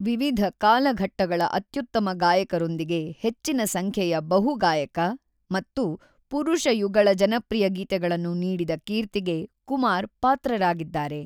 ವಿವಿಧ ಕಾಲಘಟ್ಟಗಳ ಅತ್ಯುತ್ತಮ ಗಾಯಕರೊಂದಿಗೆ ಹೆಚ್ಚಿನ ಸಂಖ್ಯೆಯ ಬಹು-ಗಾಯಕ ಮತ್ತು ಪುರುಷ-ಯುಗಳ ಜನಪ್ರಿಯ ಗೀತೆಗಳನ್ನು ನೀಡಿದ ಕೀರ್ತಿಗೆ ಕುಮಾರ್ ಪಾತ್ರರಾಗಿದ್ದಾರೆ.